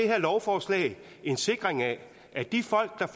her lovforslag en sikring af at de folk der